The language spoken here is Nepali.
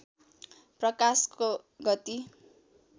प्रकाशको गति